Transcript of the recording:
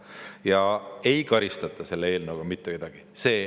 Ja ei karistata selle eelnõu kohaselt mitte kedagi.